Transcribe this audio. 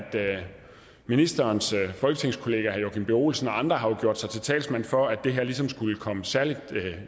ministerens folketingskollega herre joakim b olsen og andre har gjort sig til talsmænd for at det ligesom skulle komme særlig